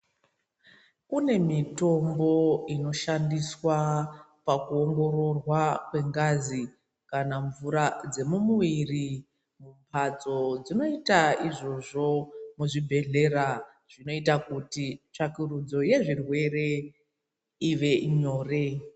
Kune mitombo inoshandiswa pakuongororwa kwengazi kana mvura dzemumuviri mumbatso dzinoita Izvozvo muzvibhedhlera zvinoita kuti tsvakurudzo yezvirwere ive nyore.